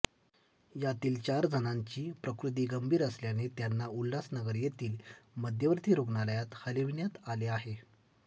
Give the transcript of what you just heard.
यातील चार जणांची प्रकृती गंभीर असल्याने त्यांना उल्हासनगर येथील मध्यवर्ती रुग्णालयात हालविण्यात आले आहे